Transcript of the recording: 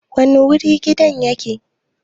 Wani wuri gidan yake?